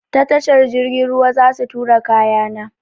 Ta tashar jirgin ruwa zasu turo kaya na.